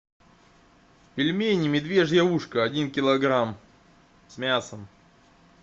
пельмени медвежье ушко один килограмм с мясом